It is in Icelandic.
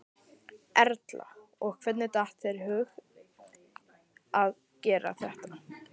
Erla: Og hvernig datt þér í hug að gera þetta?